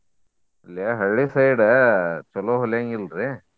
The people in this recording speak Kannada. ಇಲ್ಲೆ ಹಳ್ಳಿ side ಚೊಲೋ ಹೊಲ್ಯಾಂಗಿಲ್ರಿ.